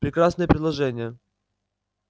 прекрасное предложение